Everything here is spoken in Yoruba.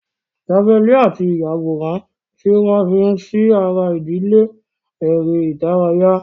Javelin àti ìyàwòrán tí wọ́n fi sí ara ìdíje eré ìdárayá.